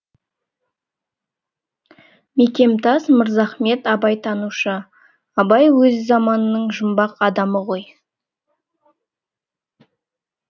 мекемтас мырзахмет абайтанушы абай өз заманының жұмбақ адамы ғой